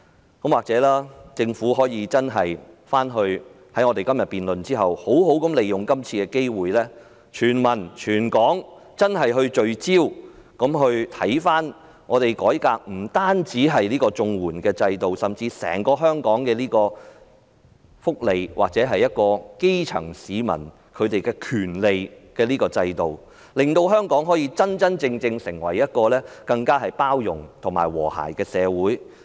在我們今天的辯論過後，或許政府可以好好利用今次機會，讓全民、全港真正聚焦於研究改革綜援制度，甚至是關乎香港福利和基層市民權利的整個制度，令香港可以真正成為更包容及和諧的社會。